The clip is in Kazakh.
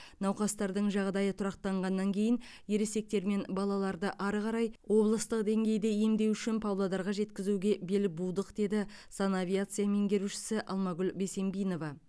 науқастардың жағдайы тұрақтанғаннан кейін ересектер мен балаларды әрі қарай облыстық деңгейде емдеу үшін павлодарға жеткізуге бел будық деді санавиация меңгерушісі алмагүл бесембинова